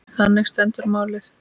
Þannig stendur málið.